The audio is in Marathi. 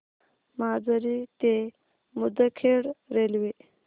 माजरी ते मुदखेड रेल्वे